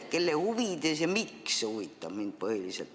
Kelle huvides ja miks, huvitab mind põhiliselt.